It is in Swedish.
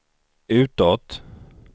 utåt